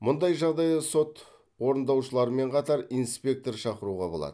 мұндай жағдайда сот орындаушыларымен қатар инспектор шақыруға болады